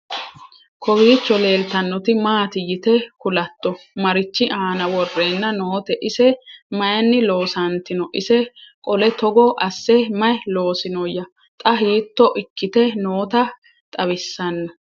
Kowiicho leelittannotti maatti yitte kulatto? Marichi aanna worrenna nootte? ise mayiinni loonsantinno? ise qole togo asse mayi loosinnoya? xa hiitto ikkitte nootta xawissanno?